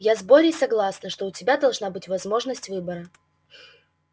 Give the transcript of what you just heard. я с борей согласна что у тебя должна быть возможность выбора